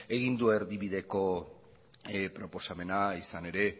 egin du erdibideko proposamena izan ere